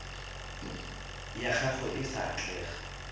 ya gago e sa atlega